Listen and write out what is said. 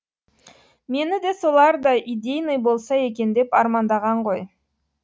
мені де солардай идейный болса екен деп армандаған ғой